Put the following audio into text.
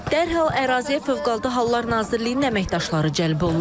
Dərhal əraziyə Fövqəladə Hallar Nazirliyinin əməkdaşları cəlb olunub.